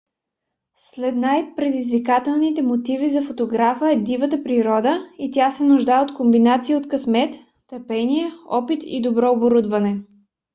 сред най - предизвикателните мотиви за фотографа е дивата природа и тя се нуждае от комбинация от късмет търпение опит и добро оборудване